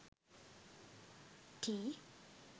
tea